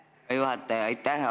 Lugupeetud juhataja, aitäh!